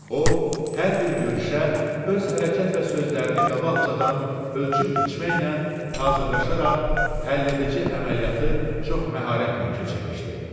O hər bir görüşə öz hərəkət və sözlərini qabaqcadan ölçüb-biçməklə hazırlaşaraq həlledici əməliyyatı çox məharətlə keçirmişdi.